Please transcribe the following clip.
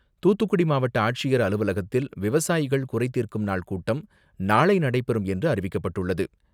துாத்துக்குடி மாவட்ட ஆட்சியர் அலுவலகத்தில் விவசாயிகள் குறைதீர்க்கும் நாள் கூட்டம் நாளை நடைபெறும் என்று அறிவிக்கப்பட்டுள்ளது.